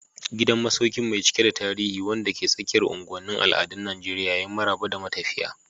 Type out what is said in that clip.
Gidan masaukin mai cike da tarihi, wanda ke tsakiyar unguwanin al'adun Najeriya, ya yi maraba da matafiya.